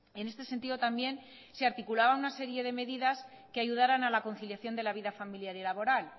en este sentido también se articulaban una serie de medidas que ayudaran a la conciliación de la vida familiar y laboral